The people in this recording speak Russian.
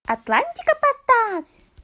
атлантика поставь